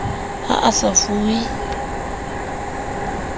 ha a sa e fuwe